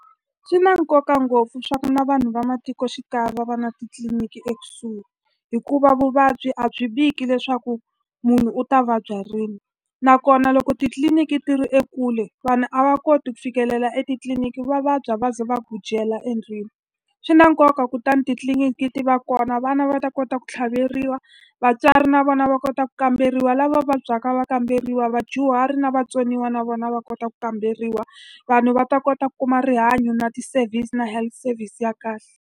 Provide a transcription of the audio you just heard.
Swi na nkoka ngopfu leswaku na vanhu va matikoxikaya va va na titliliniki ekusuhi, hikuva vuvabyi a byi viki leswaku munhu u ta vabya rini. Nakona loko titliliniki ti ri ekule vanhu a va koti ku fikelela etitliliniki va vabya va ze va endlwini. Swi na nkoka kutani titliliniki ti va kona vana va ta kota ku tlhaveriwa, vatswari na vona va kota ku kamberiwa, lava vabyaka va kamberiwa, vadyuhari na vatsoniwa na vona va kota ku kamberiwa. Vanhu va ta kota ku kuma rihanyo na ti-service na health service ya kahle.